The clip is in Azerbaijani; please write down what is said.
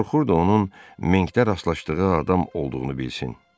Qorxurdu onun Minkdə rastlaşdığı adam olduğunu bilsin.